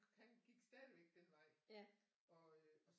Han gik stadigvæk den vej og øh så